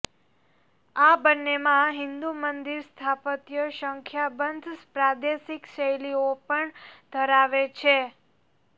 આ બંનેમાં હિંદુ મંદિર સ્થાપત્ય સંખ્યાબંધ પ્રાદેશિક શૈલીઓ પણ ધરાવે છે